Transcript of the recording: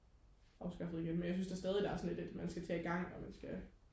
afskaffet igen men jeg synes da stadig der er sådan lidt at man skal til og igang og man skal